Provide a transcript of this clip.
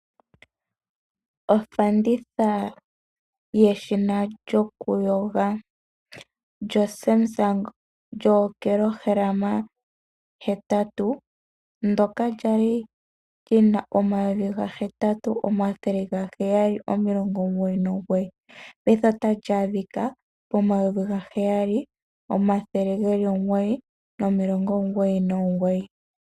Ofanditha yeshina lyokuyoga lyoSamsung lyookilohalama hetatu ndoka lyali lina omayovi gahetatu omathele gaheyali omilongo omugoyi nomugoyi payife otali adhika pomayovi gaheyali omathele geli omugoyi nomilongo omugoyi nomugoyi.